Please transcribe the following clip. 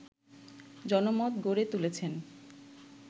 জনমত গড়ে তুলেছেন